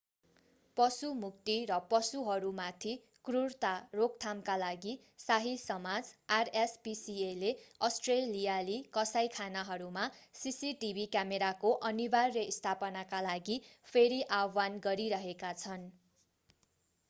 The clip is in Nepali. पशु मुक्ति र पशुहरूमाथि क्रुरता रोकथामका लागि शाही समाज rspcaले अष्ट्रेलियाली कसाइखानाहरूमा सीसीटीभी क्यामेराको अनिवार्य स्थापनाका लागि फेरि आह्वान गरिरहेका छन्।